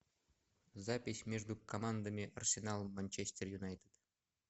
запись между командами арсенал манчестер юнайтед